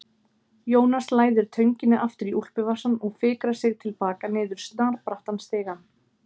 Jónas læðir tönginni aftur í úlpuvasann og fikrar sig til baka niður snarbrattan stigann.